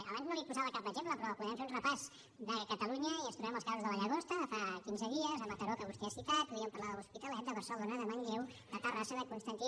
abans no li’n posava cap exemple però podem fer un repàs de catalunya i ens trobem els casos de la llagosta de fa quinze dies de mataró que vostè ha citat podríem parlar de l’hospitalet de barcelona de manlleu de terrassa de constantí